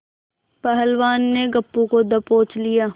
पहलवान ने गप्पू को दबोच लिया